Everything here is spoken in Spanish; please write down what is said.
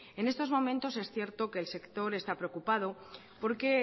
en estos momentos es cierto que el sector está preocupado porque